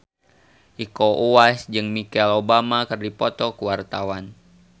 Iko Uwais jeung Michelle Obama keur dipoto ku wartawan